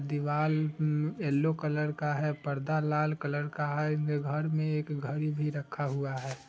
दीवाल yellow colour का है। पर्दा लाल कलर का है| इनके घर में एक घड़ी भी रखा हुआ है।